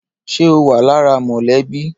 Ṣé o wa lára mọlẹbi?